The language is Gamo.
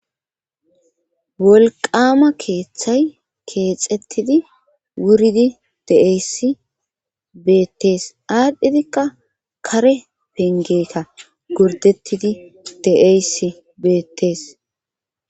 wolqama keeththay keexettidi wuridi deeyssi beettees aadhdhidikka kare pengeeta gurdettidi de'y beettees.